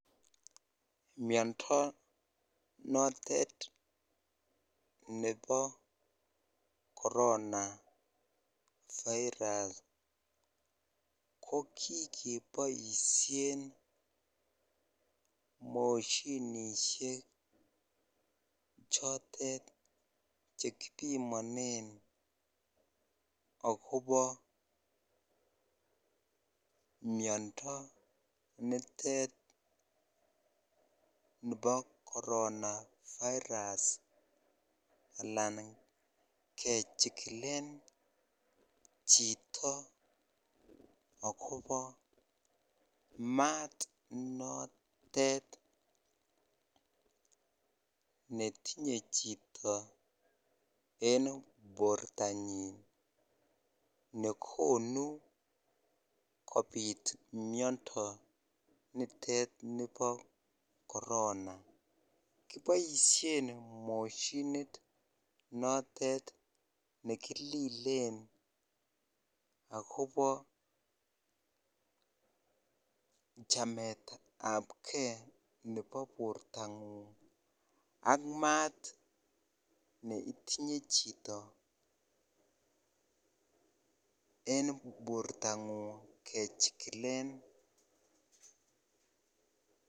Myondo notet nepo korona virus ko kigipoishen moshinisiek chotet chekipimane akobo myondo nitet nipo korona virus anan kechigilen chito agobo maat notet netinyei chito en porto nyin nekonu kopit myondo nitet nipo korona, kipoishe moshinit notet nekililen agobo chamet ab kei nepo porto ng'ung ak maat neitinye chito en porto ng'ung kechigilen.